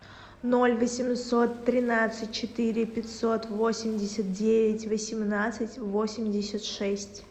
ноль восемьсот тринадцать четыре пятьсот восемьдесят девять восемнадцать восемьдесят шесть